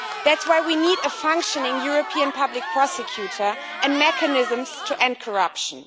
That is why we need a functioning European Public Prosecutor and mechanisms to end corruption.